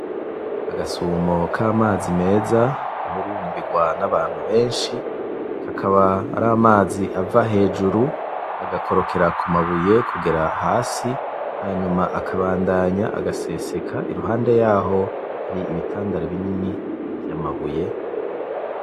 Agasumo k'amazi meza gahurumbirwa n'abantu beshi, Akaba aramazi ava hejuru agakorokera k'umabuye kugera hasi hanyuma akabandanya agasesekara iruhande yaho hari ibitandara binini vy'amabuye.